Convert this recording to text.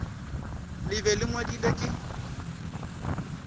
le be le ngwadilwe ke